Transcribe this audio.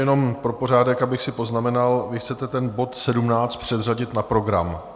Jenom pro pořádek, abych si poznamenal, vy chcete ten bod 17 předřadit na program...